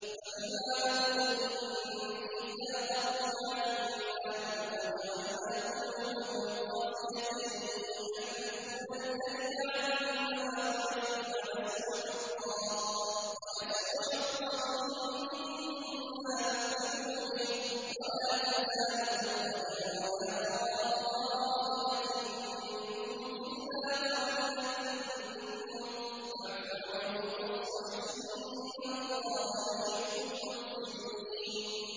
فَبِمَا نَقْضِهِم مِّيثَاقَهُمْ لَعَنَّاهُمْ وَجَعَلْنَا قُلُوبَهُمْ قَاسِيَةً ۖ يُحَرِّفُونَ الْكَلِمَ عَن مَّوَاضِعِهِ ۙ وَنَسُوا حَظًّا مِّمَّا ذُكِّرُوا بِهِ ۚ وَلَا تَزَالُ تَطَّلِعُ عَلَىٰ خَائِنَةٍ مِّنْهُمْ إِلَّا قَلِيلًا مِّنْهُمْ ۖ فَاعْفُ عَنْهُمْ وَاصْفَحْ ۚ إِنَّ اللَّهَ يُحِبُّ الْمُحْسِنِينَ